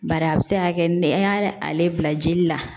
Bari a bɛ se ka kɛ nɛ y'a ale bila jeli la